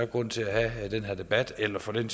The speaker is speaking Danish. grund til at have den her debat eller for den